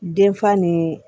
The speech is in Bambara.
Denfa ni